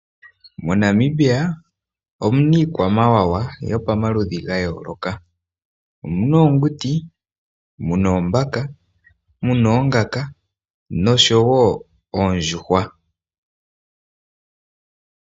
MoNamibia omuna iikwamawawa yomaludhi ga yooloka. Omuna oonguti, muna oombaka, muna oongaka nosho wo oondjuhwa.